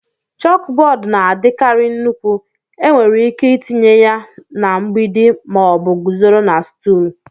Chókbódú na-adikarị nnukwu, enwere ike itinye ya na mgbidi ma ọ bụ guzoro na stúl